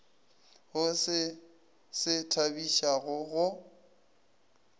go se se thabišago go